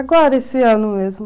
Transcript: Agora, esse ano mesmo.